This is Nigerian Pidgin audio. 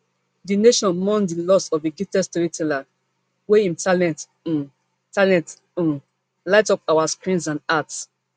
di nation mourn di loss of a gifted storyteller wey im talent um talent um light up our screens and hearts